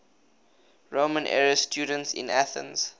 roman era students in athens